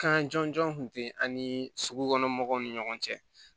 Kan jɔnjɔn tun tɛ an ni sugukɔnɔmɔgɔw ni ɲɔgɔn cɛ